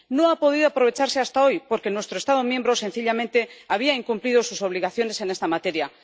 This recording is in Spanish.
No ha podido aprovecharse hasta hoy porque nuestro Estado miembro, sencillamente, había incumplido sus obligaciones en esta materia.